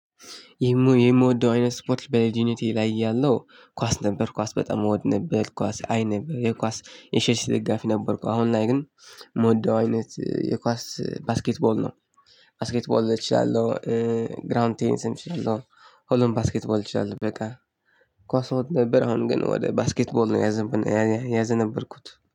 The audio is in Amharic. እኔማ የምወደው አይነት ስፖርት በልጅነቴ ላይ ያለው ኳስ ነበር ኳስ በጣም እወድ ነበር ኳስ አይነበር የኳስ የቸልሲ ደጋፊ ነበርኩ። አሁን ላይ ግን የምወደው አይነት የኳስ ባስኬትቦል ነው ባስኬት ቦል እችላለሁ። ግራውንድ ቴኒስ እችላለሁ። ሁሉንም ባስኬት ቦል እችላለሁ በቃ ኳስ እወድ ነበር። አሁን ግን ወደ ባስኬት ቦል ነው። ያዘነበልኩት